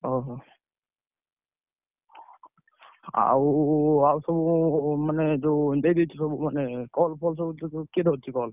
ଓହୋ, ଆଉ ଆଉ ସବୁ ମାନେ ଯାଅଉ ଦେଇଦେଇଛ ସବୁ ମାନେ call ଫଲ ସୁ କିଏ ଧରିଛି call ।